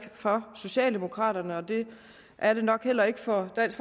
for socialdemokraterne det er det nok heller ikke for dansk